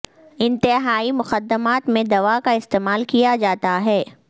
انتہائی مقدمات میں دوا کا استعمال کیا جاتا ہے